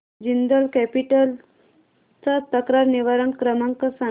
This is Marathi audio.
जिंदाल कॅपिटल चा तक्रार निवारण क्रमांक सांग